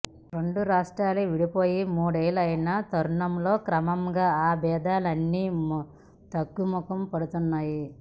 రెండు రాష్ట్రాలు విడిపోయి మూడేళ్లయిన తరుణంలో క్రమంగా ఆ విభేదాలన్నీ తగ్గుముఖం పడుతున్నాయి